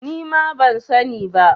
Nima ban sa ni ba